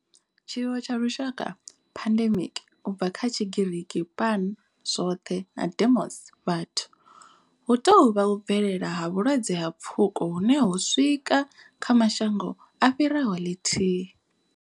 Tshiwo tsha lushaka pandemic, u bva kha Tshigiriki pan, zwoṱhe na demos, vhathu hu tou vha u bvelela ha vhulwadze ha pfuko hune ho swika kha mashango a fhiraho ḽithihi.